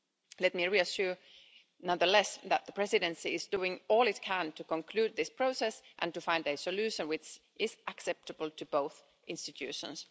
Let me reassure, nonetheless, that the Presidency is doing all it can to conclude this process and to find a solution which is acceptable to both institutions.